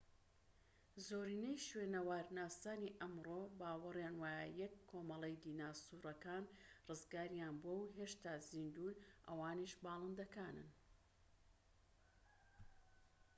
زۆرینەی شوێنەوارناسانی ئەمڕۆ باوەڕیان وایە یەک کۆمەڵەی دیناسۆرەکان ڕزگاریان بووە و هێشتا زیندوون ئەوانیش باڵندەکانن